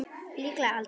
Líklega aldrei.